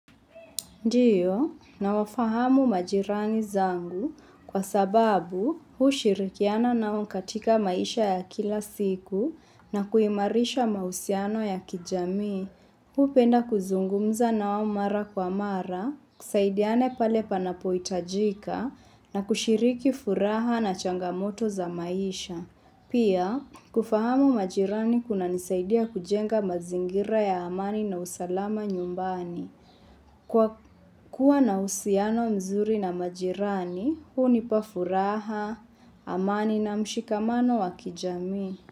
Ndiyo, na wafahamu majirani zangu kwa sababu huu shirikiana nao katika maisha ya kila siku na kuimarisha mausiano ya kijami. Huu hupenda kuzungumza nao mara kwa mara, kusaidiana pale panapoitajika na kushiriki furaha na changamoto za maisha. Pia, kufahamu majirani kuna nisaidia kujenga mazingira ya amani na usalama nyumbani. Kwa kuwa na uhusiano mzuri na majirani, huu hunipa furaha, amani na mshikamano wa kijamii.